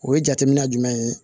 O ye jateminɛ jumɛn ye